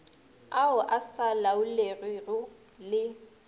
ao a sa laolegego le